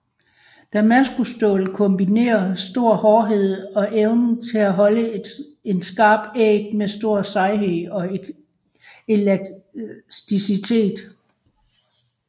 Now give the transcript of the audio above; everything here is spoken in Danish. Damaskusstål kombinerer stor hårdhed og evne til at holde en skarp æg med stor sejhed og elasticitet